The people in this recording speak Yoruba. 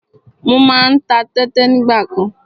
Mo má ń ta tẹ́tẹ nígbàkan.